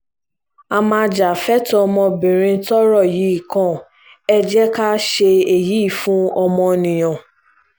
a máa já fẹ́tọ́ ọmọbìnrin tọ́rọ̀ yìí kàn ẹ́ jẹ́ ká ṣe èyí fún ọmọnìyàn